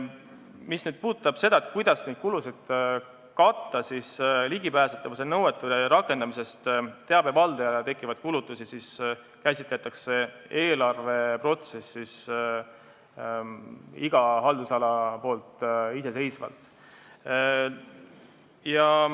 Mis puudutab seda, kuidas neid kulusid katta, siis ligipääsetavuse nõuete rakendamisest teabe valdajale tekkivaid kulutusi käsitleb iga haldusala eelarveprotsessis iseseisvalt.